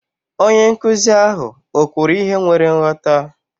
Onye nkụzi ahụ o kwuru ihe nwere nghọta?